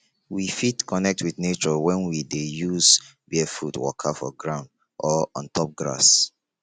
we fit connect with nature when we dey use barefoot waka for ground or on top grass